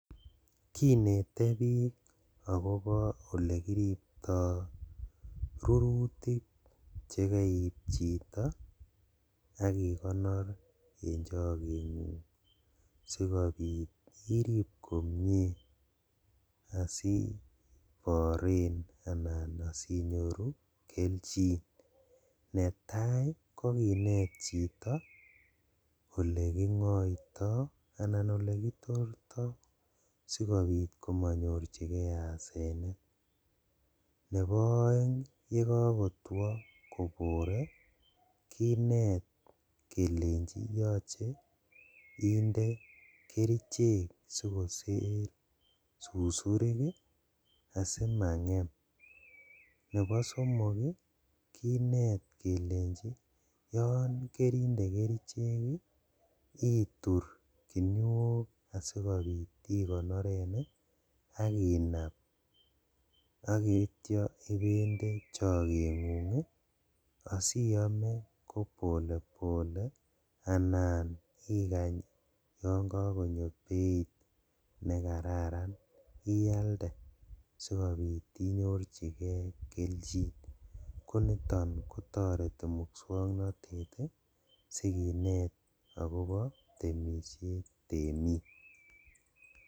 Kinete bik akobo olekiripto rurutik chekeib chito ak ikonor en chegengung sikobit irib komie adubiren anan asinyoru keljin, netai kokinet chito ole kingoito anan olekitorto sikobit komonyorjigee asenet, nebo oeng ii yegogotwo kobore kinet kelenji yoche inde kerichek sikoter susurik ii asimangem, nebo somok kinet kelenji yon kerinde kerichek itur kinuok asikonoren ak inab ak ityo ibende chokengung ii asiyome ko [cs[pole pole anan ikany yon kokonyo beit nekararan iyalde sikobit inyorjigee keljin koniton kotoreti muswoknotet ii sikinet akobo temishet temik.